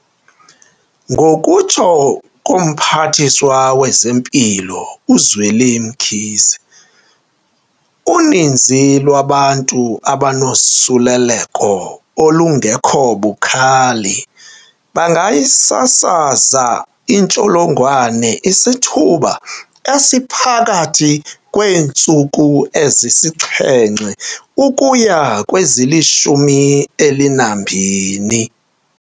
Ngokutsho koMphathiswa wezeMpilo uZweli Mkhize, uninzi lwabantu abanosuleleko olung-kho bukhali bangayisasaza intsholongwane isithuba esiphakathi kweentsuku ezisixhenxe ukuya kwezili-12.